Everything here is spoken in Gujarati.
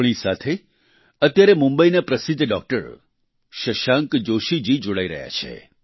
આપણી સાથે અત્યારે મુંબઈના પ્રસિદ્ધ ડોક્ટર શશાંક જોશીજી જોડાઈ રહ્યા છે